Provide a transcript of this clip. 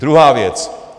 Druhá věc.